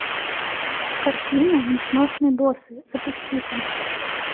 картина несносный босс запусти ка